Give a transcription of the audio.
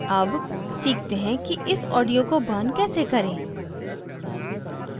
अब सीखते हैं कि इस audio को burn कैसे करें